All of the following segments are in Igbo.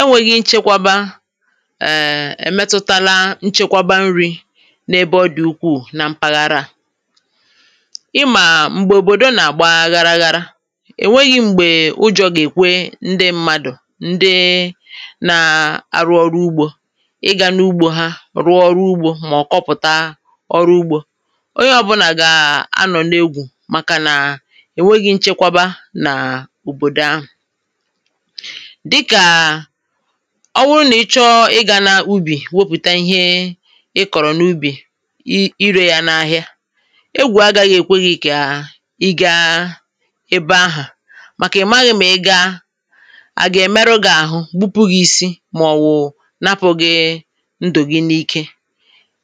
enwèghị nchekwaba è metụtala nchekwaba nri̇ n’ebe ọ dị̀ ukwụù na mpaghara à ị mà m̀gbè òbòdo nà-àgba gara gara enwėghi̇ m̀gbè ụjọ̇ gèkwe ndị mmadụ̀ ndị nȧ-ȧrụ̇ ọrụ ugbȯ ị gȧ n’ugbȯ ha rụọ ọrụ ugbȯ mà ọ̀ kọpụ̀ta ọrụ ugbȯ onye ọbụlà gà-anọ̀ n’egwù màkà nà ènwėghi̇ nchekwa ba nà òbòdò ahụ̀ dịkà ọ wụrụ nà ị chọọ ị gȧ n’ubì wopùta ihe ị kọ̀rọ̀ n’ubì irė yȧ n’ahịa egwù agȧghị èkwe gị̇ kà ị gaa ebe ahụ̀ màkà ị̀ maghị̇ mà ị gaa à gà-èmeru gị̇ àhụ gbupu̇ gị̇ isi mà ọ̀wụ̀ napụ̇ gị̇ ndụ̀ gị n’ike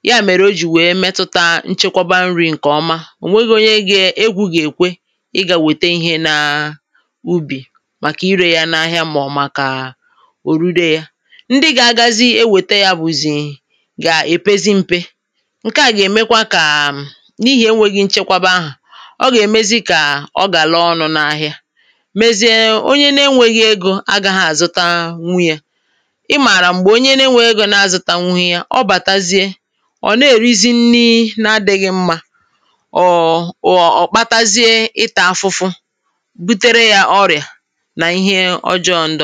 ya mèrè o jì wèe metụta nchekwaba nri̇ ǹkè ọma ò nweghi̇ onye onye egwù gà-èkwe ị gà wète ihe n’ubì òrire yȧ ndị gà-àgazi e wète yȧ bụ̀zì gà-èpezi mpė ǹke à gà-èmekwa kà n’ihì enwėghi̇ nchekwaba ahụ̀ ọ gà-èmezi kà ọ gà laa ọnụ̇ n’ahịa mezie onye na-enwėghi̇ egȯ agȧghị àzụta nwunyė ịmàrà m̀gbè onye na-enwėghi̇ egȯ na-azụtà nwunyi yȧ ọ bàtazie ọ̀ na-èrizi nni̇ na-adị̇ghị̇ mmȧ ọọ̀ kpatazie ità afụ̇fụ̇ butere yȧ ọrịà ǹkẹ̀